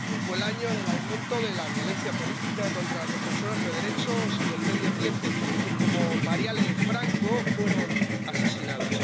Fue el año del aumento de la violencia política contra las defensoras de derechos y del medio ambiente, que, como Marielle Franco, fueron asesinadas.